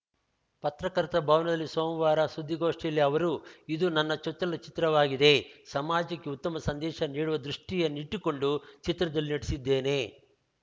ಪತ್ರಕರ್ತರ ಭವನದಲ್ಲಿ ಸೋಮವಾರ ಸುದ್ದಿಗೋಷ್ಟಿಯಲ್ಲಿ ಅವರು ಇದು ನನ್ನ ಚೊಚ್ಚಲ ಚಿತ್ರವಾಗಿದೆ ಸಮಾಜಕ್ಕೆ ಉತ್ತಮ ಸಂದೇಶ ನೀಡುವ ದೃಷ್ಟಿಯನ್ನಿಟ್ಟುಕೊಂಡು ಚಿತ್ರದಲ್ಲಿ ನಟಿಸಿದ್ದೇನೆ